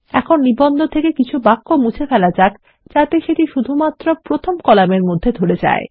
এখন নিবন্ধ থেকে কিছু বাক্য মুছে ফেলা যাক যাতে সেটি শুধুমাত্র প্রথম কলামের মধ্যে ধরে যায়